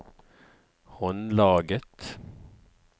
håndlaget